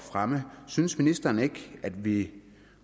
fremme synes ministeren ikke at vi